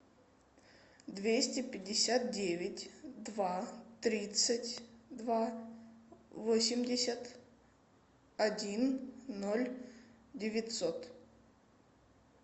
двести пятьдесят девять два тридцать два восемьдесят один ноль девятьсот